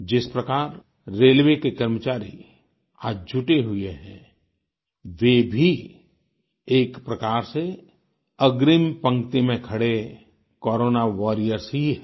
जिस प्रकार रेलवे के कर्मचारी आज जुटे हुए हैं वे भी एक प्रकार से अग्रिम पंक्ति में खड़े कोरोना वॉरियर्स ही हैं